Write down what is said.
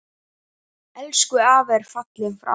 Eiður var elstur okkar.